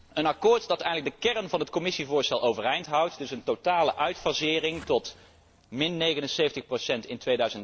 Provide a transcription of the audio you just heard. te komen. Een akkoord dat eigenlijk de kern van het Commissievoorstel overeind houdt, dus een totale uitfasering tot 79